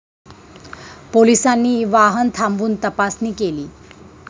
पोलिसांनी वाहन थांबवून तपासणी केली.